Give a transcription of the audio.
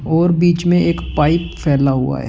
और बीच में एक पाइप फैला हुआ है।